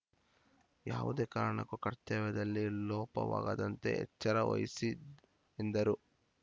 ಯಾವುದೇ ಕಾರಣಕ್ಕೂ ಕರ್ತವ್ಯದಲ್ಲಿ ಲೋಪವಾಗದಂತೆ ಎಚ್ಚರ ವಹಿಸಿ ಎಂದರು